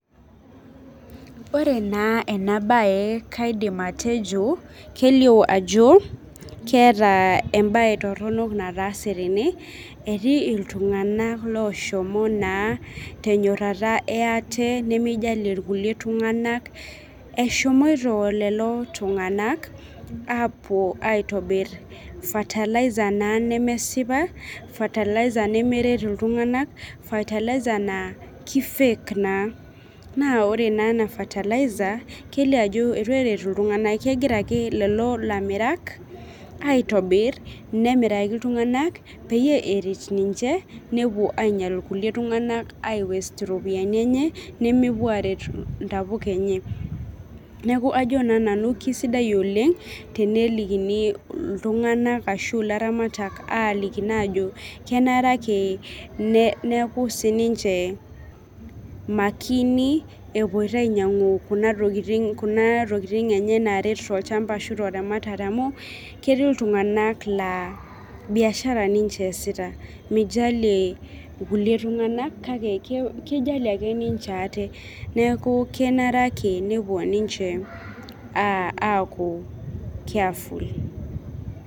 Ore naa ena bae kaidim atejo, kelio ajo keeta ebae toronok nataase tene etii iltung'ana loshomo naa tenyorotaa ee ate nemijalie irkulie itlung'anak, eshomoito lelo tung'ak apuo aitobir fertilizer naa nemesipa, fertilizer nemeret iltung'ana, fertilizer naa ki fake naa. Naa ore ena fertilizer kelio ajo eitu eret iltung'ana. Kegira ake lelo lamirak aitobir, nemiraki iltung'ana peeyie eret ninche nepuo ainyal irkulie tung'ak ai waste iropiani enye nemepuo aret intapuka enye. Neeku ajo naa nanu kisidai oleng tenelikini iltung'ana ashu ilaramayak aliki naa ajo kenare ake neeku sii ninche makini epoito ainyang'u kuna tokitin enye naret ninche tolchamba ashu teramatare amu ketii iltung'ana laa biashara ninche eesita. Mijalie kulie tung'ana kake kijalie ake ninche aate. Neeku kenare ake nepuo ninche akuu careful.